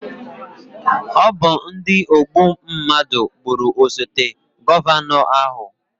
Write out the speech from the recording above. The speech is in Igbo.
Ọ bụ ndi ogbu mnadụ gbụrụ osote gọvanọ ahụ